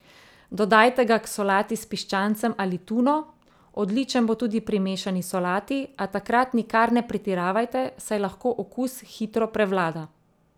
Dodajte ga k solati s piščancem ali tuno, odličen bo tudi pri mešani solati, a takrat nikar ne pretiravajte, saj lahko okus hitro prevlada.